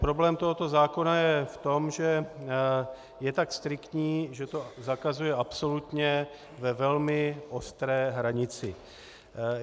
Problém tohoto zákona je v tom, že je tak striktní, že to zakazuje absolutně ve velmi ostré hranici.